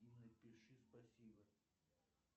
и напиши спасибо